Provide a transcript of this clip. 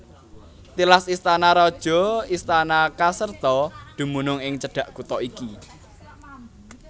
Tilas istana raja istana Caserta dumunung ing cedhak kutha iki